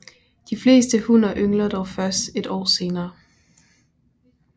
De fleste hunner yngler dog først et år senere